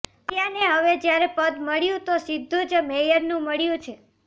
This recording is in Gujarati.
આર્યાને હવે જ્યારે પદ મળ્યુ તો સીધુ જ મેયરનું મળ્યું છે